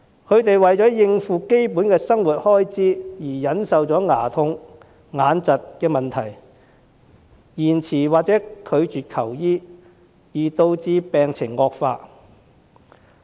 他們為了應付基本生活開支而忍受牙痛、眼疾的問題，延遲或拒絕求醫而導致病情惡化。